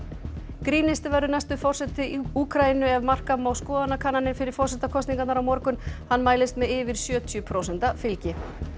grínisti verður næsti forseti Úkraínu ef marka má skoðanakannanir fyrir forsetakosningarnar á morgun hann mælist með yfir sjötíu prósenta fylgi